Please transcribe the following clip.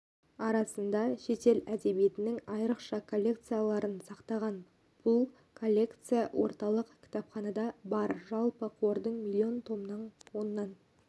арасында шетел әдебиетінің айрықша коллекцияларын сақтаған бұлколлекция орталық кітапханада бар жалпы қордың миллион томның оннан